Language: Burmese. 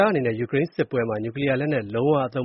ားအနေနဲ့ ယူကရိန်းမှာ နျူကလီးယားလက်နက် လုံးဝ မသုံ